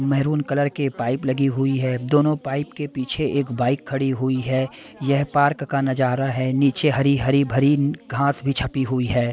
Maroon colour के pipe लगी हुई है दोनों पाइप के पीछे एक बाइक खड़ी हुई है यह पार्क का नजारा है नीचे हरी-हरी भरी घास भी छपी हुई है।